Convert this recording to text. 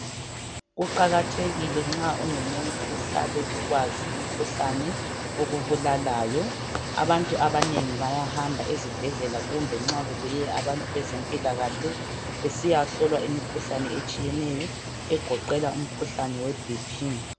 Kuqakathekile nxa ungumuntu uhlale ukwazi umkhuhlane okubulalayo. Abantu abanengi bayahamba ezibhedlela kumbe nxa kubuye abantu bezempilakahle besiyahlolwa imikhuhlane etshiyeneyo egoqela umkhuhlane we bp.